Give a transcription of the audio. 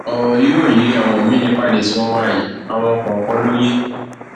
ọrọ yìí ò yé àwọn míín nípàdé tí wọn wà yìí àwọn kọọkan ló yé